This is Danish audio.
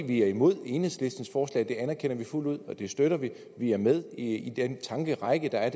vi er imod enhedslistens forslag det anerkender vi fuldt ud og det støtter vi vi er med i den tankerække der er